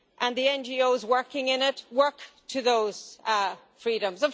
The NGOs working in it work to those freedoms.